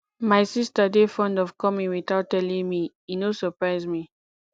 my sista dey fond of coming witout telling me e no surprise me